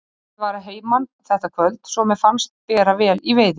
Pabbi var að heiman þetta kvöld svo mér fannst bera vel í veiði.